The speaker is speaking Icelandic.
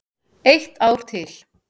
Eitt ár til.